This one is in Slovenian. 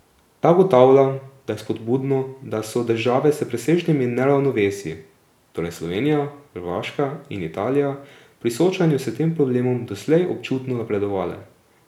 Ta ugotavlja, da je spodbudno, da so države s presežnimi neravnovesji, torej Slovenija, Hrvaška in Italija, pri soočanju s tem problemom doslej občutno napredovale.